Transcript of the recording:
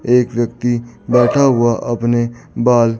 एक व्यक्ति बैठा हुआ अपने बाल--